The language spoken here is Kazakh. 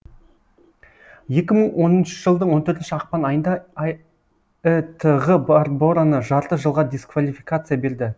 екі мың он үшінші жылдың он төртінші ақпан айында ітғ барбораны жарты жылға дисквалификация берді